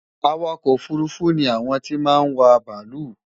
Awakò̩ òfurufú ni àwon tí máa n wa bàálù.